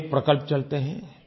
अनेक प्रकल्प चलते हैं